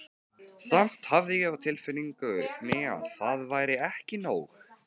Samt hafði ég á tilfinningunni að það væri ekki nóg.